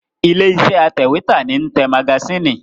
Ilé iṣẹ́ atẹ̀wẹ́tà ní ń tẹ magasínì